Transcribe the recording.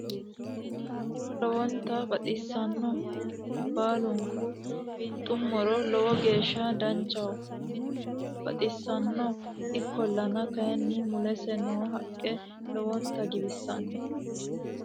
Tini muro lowonta baxxissanno konnira baalunku winxxummoro lowo geeshsha danchaho tini muro baxxissanno ikkollana kayinni mulese noo haqqe lowonta giwissanno